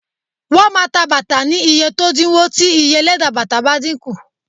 Shoes will be sold at cheaper prices if the cost of leather decreases